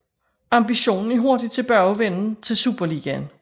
Ambitionen er hurtig tilbagevenden til Superligaen